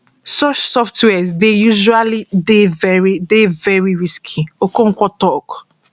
such softwares dey usually dey very dey very risky okonkwo tok